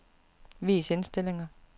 Vis indstillinger.